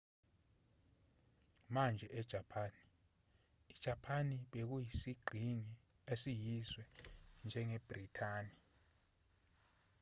manje ejapani ijapani bekuyisiqhingi esiyizwe njengebhrithani